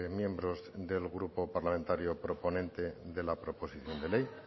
miembros del grupo parlamentario proponente de la proposición de ley